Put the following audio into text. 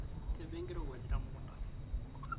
kebaa enkirowuaj temukunda